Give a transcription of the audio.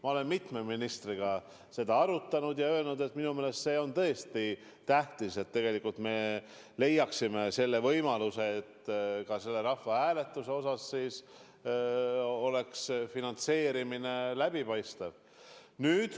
Ma olen mitme ministriga seda arutanud ja öelnud, et minu meelest on tõesti tähtis leida võimalus tagada, et selle rahvahääletuse puhul oleks finantseerimine läbipaistev.